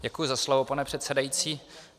Děkuji za slovo, pane předsedající.